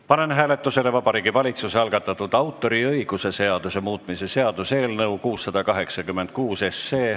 Panen hääletusele Vabariigi Valitsuse algatatud autoriõiguse seaduse muutmise seaduse eelnõu 686.